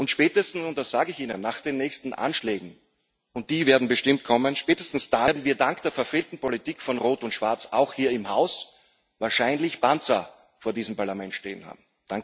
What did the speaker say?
Spätestens und das sage ich Ihnen nach den nächsten Anschlägen und die werden bestimmt kommen werden wir dank der verfehlten Politik von Rot und Schwarz auch hier im Haus wahrscheinlich Panzer vor diesem Parlament stehen haben.